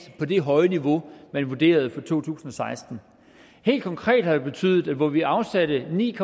på det høje niveau man vurderede for to tusind og seksten helt konkret har det betydet at hvor vi afsatte ni